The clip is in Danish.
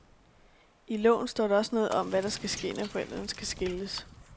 I loven står der også noget om, hvad der skal ske, når forældrene skal skilles.